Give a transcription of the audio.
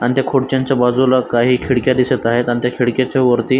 अन त्या खुर्च्यांच्या बाजुला काही खिडक्या दिसत आहेत अन त्या खिडक्याच्या वरती--